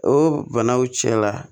O banaw cɛla